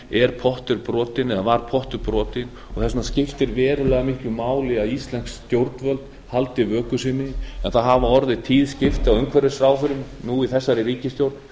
var pottur brotinn og þess vegna skiptir verulega miklu máli að íslensk stjórnvöld haldi vöku sinni en það hafa orðið tíð skipti á umhverfisráðherrum nú í þessari ríkisstjórn